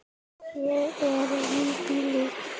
Þér eruð engum lík!